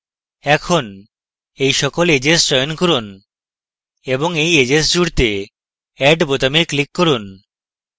এখন এই সকল edges চয়ন করুন এবং এই edges জুড়তে add বোতামে click করুন